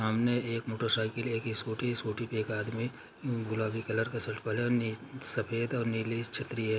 सामने एक मोटरसाइकिल है एक स्कूटी है स्कूटी पे एक आदमी गुलाबी कलर का शर्ट सफेद और नीली छत्री है।